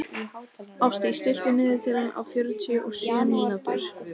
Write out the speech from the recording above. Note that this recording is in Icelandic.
Ástdís, stilltu niðurteljara á fjörutíu og sjö mínútur.